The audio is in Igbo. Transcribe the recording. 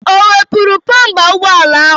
O wepụrụ bụmpa ụgbọala ahụ?